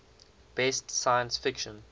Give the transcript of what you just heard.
best science fiction